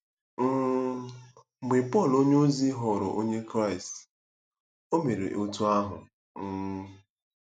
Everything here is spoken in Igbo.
um Mgbe Pọl onyeozi ghọrọ Onye Kraịst, o mere otú ahụ. um